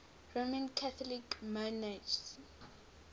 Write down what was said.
roman catholic monarchs